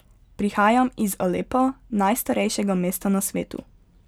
Prihajam iz Alepa, najstarejšega mesta na svetu.